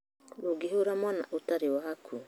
Ndũngĩhũra mwana atarĩ waku